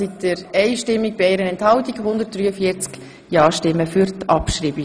Sie haben Ziffer 3 als Postulat abgeschrieben.